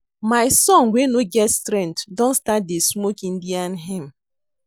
My son wey no get strength don start to dey smoke Indian hemp